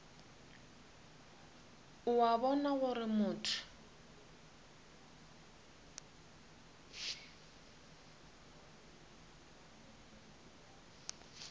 o a bona gore motho